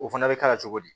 O fana bɛ k'a la cogo di